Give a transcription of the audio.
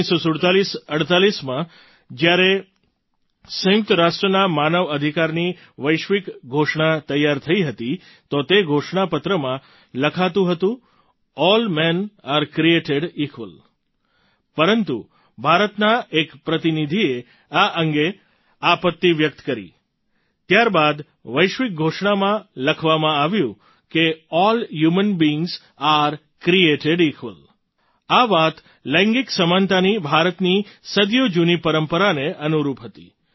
194748માં જ્યારે સંયુક્ત રાષ્ટ્રના માનવ અધિકારોની વૈશ્વિક ઘોષણા તૈયાર થઈ રહી હતી તો તે ઘોષણા પત્રમાં લખાતું હતું પરંતુ ભારતના એ પ્રતિનિધિએ આ અંગે આપત્તિ વ્યક્ત કરી ત્યારબાદ વૈશ્વિક ઘોષણામાં લખવામાં આવ્યું કે all men are created equal આ વાત લૈંગિક સમાનતાની ભારતની સદીઓ જૂની પરંપરાને અનુરૂપ હતી